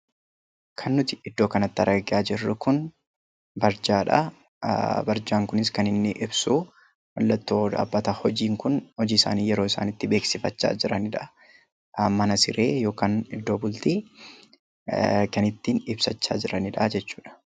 Kan nuti iddoo kanatti argaa jirru kun barjaadha. Barjaan kunis kan inni ibsu mallattoo dhaabbata hojiisaanii yeroo isaan itti beeksifachaa jiranidha. Kan mana siree yookaan iddoo bultii kan ittiin ibsachaa jiranidha jechuudha.